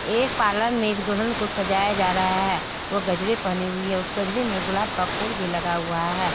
एक पार्लर में एक दुल्हन को सजाया जा रहा है वो गजरे पहनी हुई है उस गजरे में गुलाब का फूल भी लगा हुआ है।